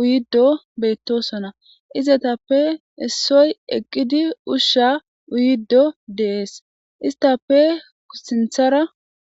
uyiddo beyttosona izetappe issoy eqqidi ushsha uyiddo deees istappe sinthara